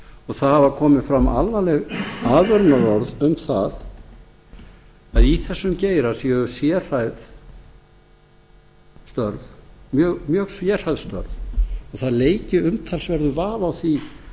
og það hafa komið fram alvarleg aðvörunarorð um það að í þessum geira séu mjög sérhæfð störf og það leiki umtalsverður vafi á því